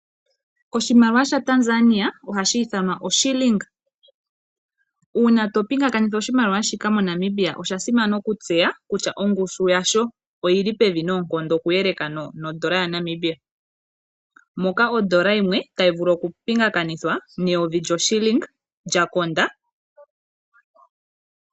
Oshimaliwa shTanzania ohashi ithanwa oshiling uuna to pingakanitha oshimaliwa shika moNamibia osha simana okutseya kutya ongushu yasho oyili pevi noonkondo oku yeleka no ndola yaNamibia, moka ondola yimwe tayi vulu oku pingakanithwa neyovi lyoshiling lyakonda.